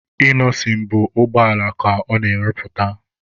Inọsịn bụ ụgbọala ka ọ na-arụpụta.